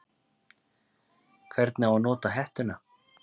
Hvernig á að nota hettuna?